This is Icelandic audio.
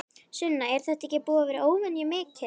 Sunna: Er þetta ekki búið að vera óvenju mikið?